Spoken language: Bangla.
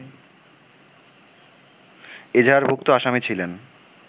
এজাহারভুক্ত আসামি ছিলেন